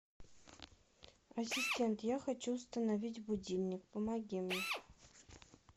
ассистент я хочу установить будильник помоги мне